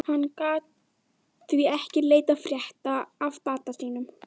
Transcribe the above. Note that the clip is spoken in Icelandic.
Hann gat því ekki leitað frétta af bata sínum.